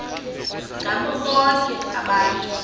ngabo bonke abantu